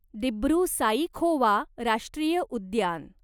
दिब्रु साईखोवा राष्ट्रीय उद्यान